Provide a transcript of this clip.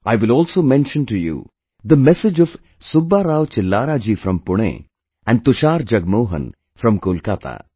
I will also mention to you the message of Subba Rao Chillara ji from Pune and Tushar Jagmohan from Kolkata